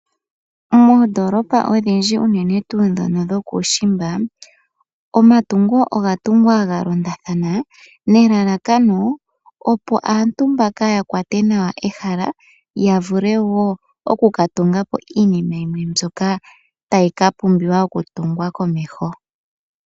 Moondoolopa odhindji unene tuu ndjono dhokuushimba , omatungo oga tungwa ga londathana nelalakano opo aantu mbaka yakwate nawa ehala yavule wo oku ka tungapo iinima yimwe mbyoka tayi ka pumbiwa okutunga komeho.